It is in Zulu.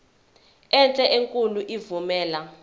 enhle enkulu evumela